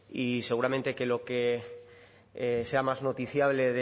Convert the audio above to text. y seguramente que lo que me sea más noticiable